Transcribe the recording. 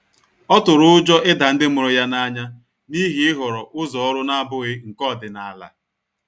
Ọ tụrụ ụjọ ịda ndi mụrụ ya n'anya n'ihi ihọrọ ụzọ ọrụ na-abụghị nke ọdịnala.